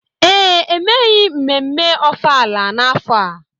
ee, emeghị mmemme ọfala n'afọ a